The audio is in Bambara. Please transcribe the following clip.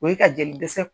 O ye ka jeli dɛsɛ